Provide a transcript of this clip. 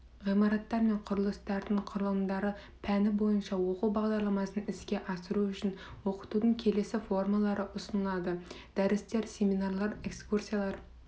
ғимараттар мен құрылыстардың құрылымдары пәні бойынша оқу бағдарламасын іске асыру үшін оқытудың келесі формалары ұсынылады дәрістер семинарлар экскурсиялар